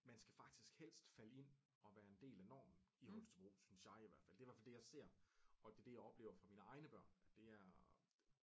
Man skal faktisk helst falde ind og være en del af normen i Holstebro synes jeg i hvert fald det i hvert fald det jeg ser og det er det jeg oplever fra mine egne børn at det er